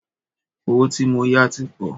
Owó tí mó yá tí pọ̀.